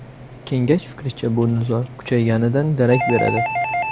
Kengash fikricha, bu nizo kuchayganidan darak beradi.